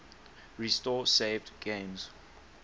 restore saved games